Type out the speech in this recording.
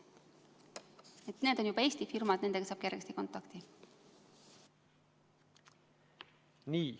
Need on juba Eesti firmad, nendega saab kergesti kontakti.